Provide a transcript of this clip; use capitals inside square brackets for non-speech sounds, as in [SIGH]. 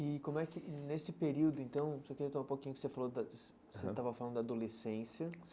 E como é que nesse período, então, que eu queria [UNINTELLIGIBLE] um pouquinho do que você falou da, [UNINTELLIGIBLE] você estava falando da adolescência.